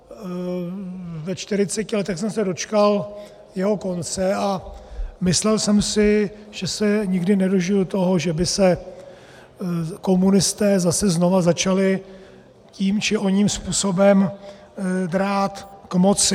Ve 40 letech jsem se dočkal jeho konce a myslel jsem si, že se nikdy nedožiji toho, že by se komunisté zase znovu začali tím či oním způsobem drát k moci.